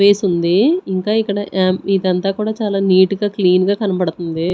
Place ఉంది ఇంకా ఇక్కడ ఆ ఇదంతా కూడా చాలా నీట్ గా క్లీన్ గా కనబడుతుంది.